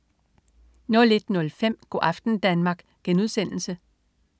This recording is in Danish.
01.05 Go' aften Danmark*